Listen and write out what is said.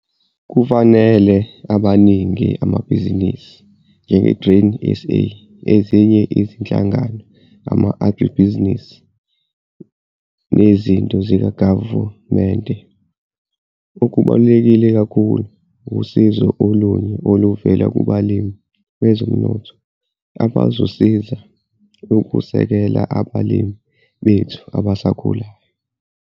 Kufanele amaningi amabhizinisi njengeGrain SA, ezinye izinhlangano, ama-agribuzinisi, nezinto zikaGavumente okubaluleke kakhulu usizo olunye oluvela kubalimi bezomnotho abazosiza ukusekela abalimi bethu abasakhulayo.